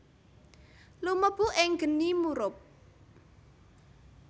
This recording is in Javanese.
Lumebu ing geni murub